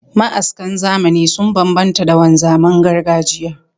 Ma'askan zamani sun bambanta da wanzaman gargajiya